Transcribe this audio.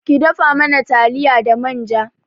Ki dafa mana taliya da manja